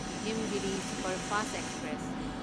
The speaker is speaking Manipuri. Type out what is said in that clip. Himgiri superfast express